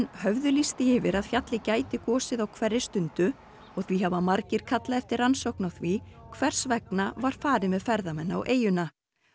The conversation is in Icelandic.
höfðu lýst því yfir að fjallið gæti gosið á hverri stundu og því hafa margir kallað eftir rannsókn á því hvers vegna var farið með ferðamenn á eyjuna